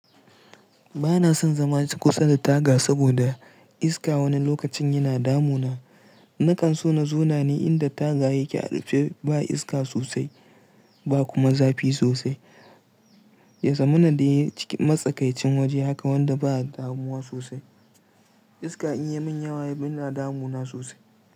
Bana son zama ciki kusa da taga saboda iska wani lokacin yana damu na. Nakan so na zauna ne inda taga yake a rufe ba iska sosai ba kuma zafi sosai. Ya zamana da ciki matsakaicin waje haka wanda ba damuwa sosai. Iska in ya min yawa yana damu na sosai.